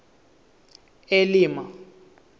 elima